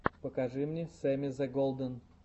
покажи мне сэмми зе голден